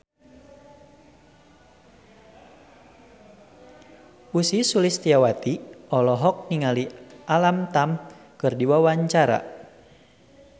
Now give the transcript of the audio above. Ussy Sulistyawati olohok ningali Alam Tam keur diwawancara